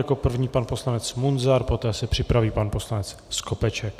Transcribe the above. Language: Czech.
Jako první pan poslanec Munzar, poté se připraví pan poslanec Skopeček.